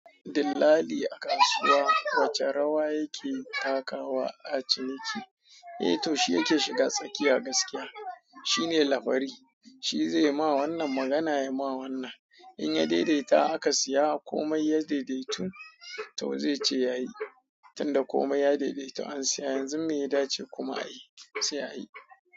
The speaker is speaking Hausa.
Dillali a kasuwa wace rawa yake takawa a ciniki? Eh to shi yake shiga tsakiya gaskiya. Shi ne labari. Shi zai ma wannan magana ya ma wannan. In ya daidaita aka siya komai ya daidaitu tau zai ce ya yi. Tinda komai ya daidaitu an saya yanzu me ya dace kuma a yi, sai a yi.